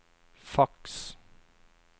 faks